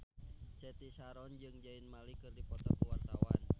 Cathy Sharon jeung Zayn Malik keur dipoto ku wartawan